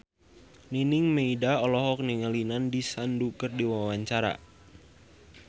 Nining Meida olohok ningali Nandish Sandhu keur diwawancara